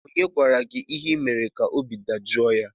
Onye gwara gị ihe ị mere ka obi dajọọ ya?